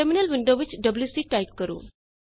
terminal window ਵਿੱਚ ਡਬਲਯੂਸੀ type ਕਰੋ